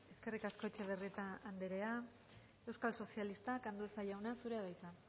eskerrik asko etxebarrieta andrea euskal sozialistak andueza jauna zurea da hitza